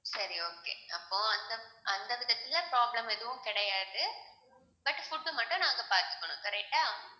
சரி okay அப்போ அந்த அந்த விதத்துல problem எதுவும் கிடையாது but food மட்டும் நாங்க பார்த்துக்கணும் correct ஆ